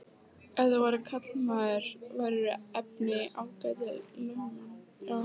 Ef þú værir karlmaður værirðu efni í ágætan lögmann.